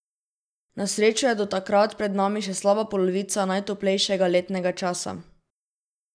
Na srečo je do takrat pred nami še slaba polovica najtoplejšega letnega časa.